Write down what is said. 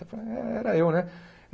Eu falei, é era eu, né?